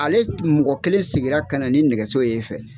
Ale mɔgɔ kelen sigira ka na ni nɛgɛso ye e fɛ